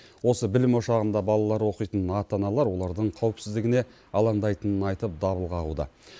осы білім ошағында балалары оқитын ата аналар олардың қауіпсіздігіне алаңдайтынын айтып дабыл қағуда